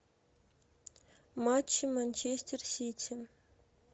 матчи манчестер сити